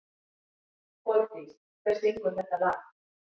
Koldís, hver syngur þetta lag?